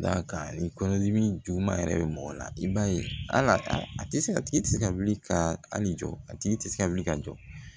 Da ka ni kɔnɔdimi juguman yɛrɛ bɛ mɔgɔ la i b'a ye al'a tɛ se a tigi tɛ se ka wuli ka hali jɔ a tigi tɛ se ka wuli ka jɔ